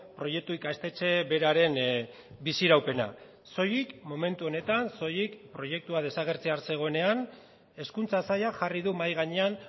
proiektu ikastetxe beraren biziraupena soilik momentu honetan soilik proiektua desagertzear zegoenean hezkuntza sailak jarri du mahai gainean